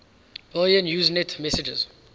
billion usenet messages